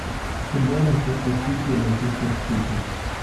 футбол манчестер сити и манчестер сити